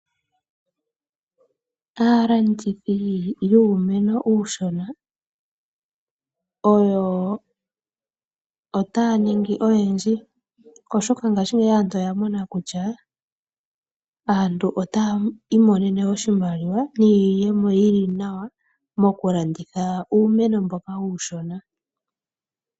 Aalandithi yuumeno uushona otaya ningi oyendji oshoka aantu ngaashingeyi aantu oya mona kutya aantu otaya mono oshimaliwa niiyemo yili nawa mokulanditha uumeno mboka uushona.